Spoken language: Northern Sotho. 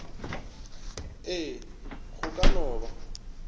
ee go ka no ba